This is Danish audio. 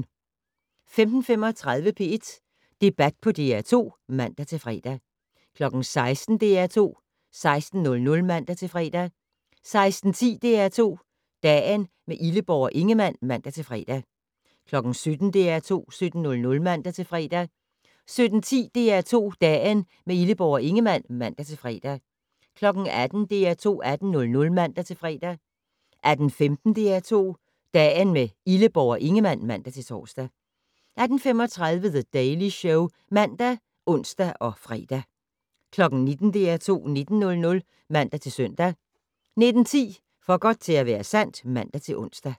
15:35: P1 Debat på DR2 (man-fre) 16:00: DR2 16:00 (man-fre) 16:10: DR2 Dagen - med Illeborg og Ingemann (man-fre) 17:00: DR2 17:00 (man-fre) 17:10: DR2 Dagen - med Illeborg og Ingemann (man-fre) 18:00: DR2 18:00 (man-fre) 18:15: DR2 Dagen - med Illeborg og Ingemann (man-tor) 18:35: The Daily Show (man og ons-fre) 19:00: DR2 19:00 (man-søn) 19:10: For godt til at være sandt (man-ons)